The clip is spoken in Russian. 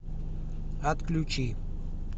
отключи